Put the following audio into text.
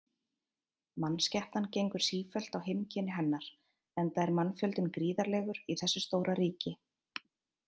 Mannskepnan gengur sífellt á heimkynni hennar, enda er mannfjöldinn gríðarlegur í þessu stóra ríki.